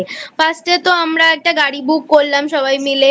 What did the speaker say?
First এ তো আমরা একটা গাড়ি Book করলাম সবাই মিলে